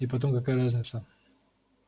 и потом какая разница